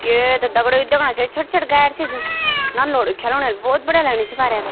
ये त दगड़ियों यु द्यखणा छौं ये छोट-छोट गाड़ी छी जु नन लौड़ खिलण भोत बढ़िया लगनी छी अफार ह्यारे --